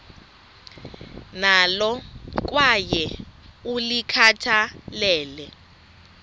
nalo kwaye ulikhathalele